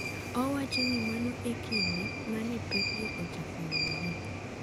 Owacho ni mano e kinde ma ne pekgo ochako yudore.